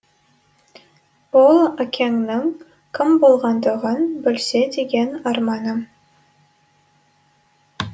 ол әкеңнің кім болғандығын білсе деген арманым